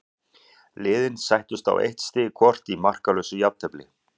Liðin sættust á eitt stig hvort í markalausu jafntefli.